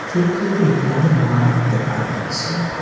ছবিটিতে বড়ো মাঠ দেখা যাচ্ছে।